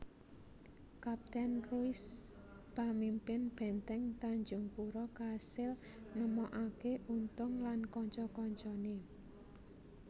Kaptèn Ruys pamimpin bèntèng Tanjungpura kasil nemokaké Untung lan kanca kancané